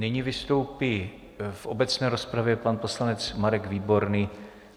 Nyní vystoupí v obecné rozpravě pan poslanec Marek Výborný.